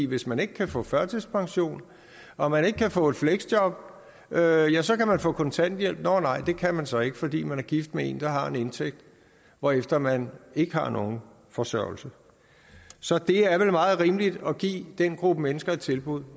hvis man ikke kan få førtidspension og man ikke kan få et fleksjob ja så kan man få kontanthjælp nå nej det kan man så ikke fordi man er gift med en der har en indtægt hvorefter man ikke har nogen forsørgelse så det er vel meget rimeligt at give den gruppe mennesker et tilbud